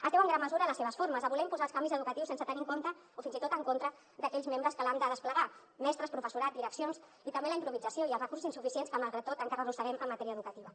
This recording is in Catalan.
es deu en gran mesura a les seves formes a voler imposar els canvis educatius sense tenir en compte o fins i tot en contra d’aquells membres que l’han de desplegar mestres professorat direccions i també a la improvisació i als recursos insuficients que malgrat tot encara arrosseguem en matèria educativa